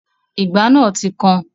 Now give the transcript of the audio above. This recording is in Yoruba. Ìgbá náà ti kan